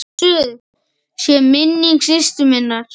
Blessuð sé minning systur minnar.